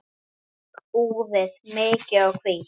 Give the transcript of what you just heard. Skegg úfið, mikið og hvítt.